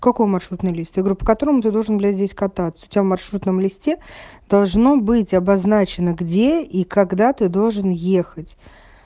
какой маршрутный лист я говорю по которому ты должен блять здесь кататься у тебя в маршрутном листе должно быть обозначено где и когда ты должен ехать